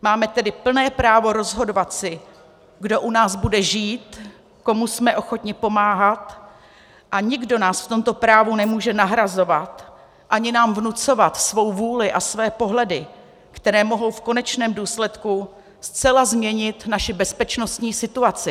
Máme tedy plné právo rozhodovat si, kdo u nás bude žít, komu jsme ochotni pomáhat, a nikdo nás v tomto právu nemůže nahrazovat ani nám vnucovat svou vůli a své pohledy, které mohou v konečném důsledku zcela změnit naši bezpečnostní situaci.